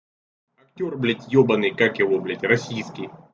актёр блядь ёбанный как его блядь российский